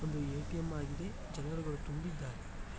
ಒಂದು ಎ_ಟಿ_ಎಂ ಆಗಿದೆ ಜನರುಗಳು ತುಂಬಿದ್ದಾರೆ.